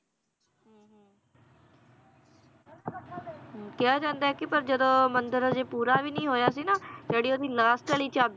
ਕਿਹਾ ਜਾਂਦਾ ਏ ਕਿ ਪਰ ਜਦੋਂ ਮੰਦਿਰ ਹਜੇ ਪੂਰਾ ਵੀ ਨੀ ਹੋਇਆ ਸੀ ਨਾ, ਜਿਹੜੀ ਓਹਦੀ last ਵਾਲੀ ਚਾਬੀ